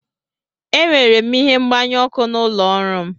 Enwere m ihe mgbanyụ ọkụ n'ụlọ ọrụ m.